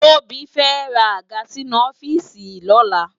Tobi fè rá ágà sinú òfìsí lòlá